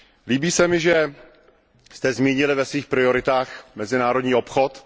Líbí se mi, že jste zmínili ve svých prioritách mezinárodní obchod.